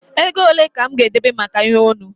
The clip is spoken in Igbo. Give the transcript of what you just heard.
Ego ole ka mụ ga-edebe maka ihe onu?